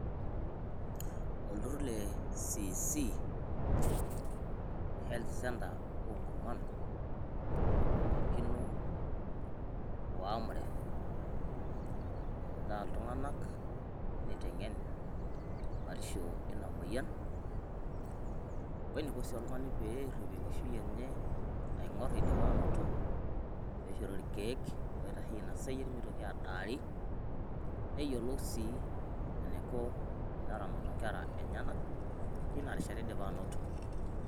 Olturrur le CEC, Health Centre oonkurman eibung'akino o AMREF eutaa iltung'anak neiteng'en batisho eina moyian, weneiko sii oltung'ani peerrip enkishu enye, aing'orr eidipa anoto peishori ilkeek oitasheyie ina sayiet meitoki adaari, neyiolou sii eneiko teneramatu nkera enyenak teina rishata eidipa anoto.